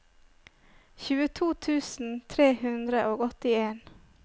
tjueto tusen tre hundre og åttien